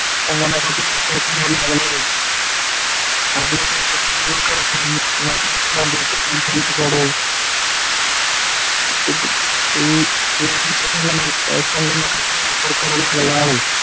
संगणकाचे लागले आहे, अन्नसाठ्याचा जेवढा खर्च येईल, संगणकाच्या वापर करणे आहे.